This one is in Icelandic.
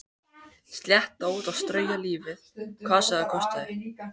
Slétta út og strauja lífið hvað sem það kostaði.